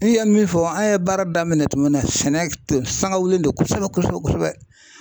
N'i ye min fɔ an ye baara daminɛ tuma min na sɛnɛ tun sanga wililen don kosɛbɛ kosɛbɛ